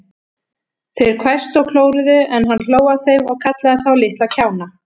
Þeir hvæstu og klóruðu, en hann hló að þeim og kallaði þá litla kjána.